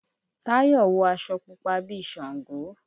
Táyọ̀ wọ aṣọ púpa bí i ṣàngó.